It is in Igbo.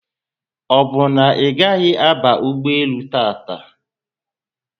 Obu na igahi aba ụgbọelu tata?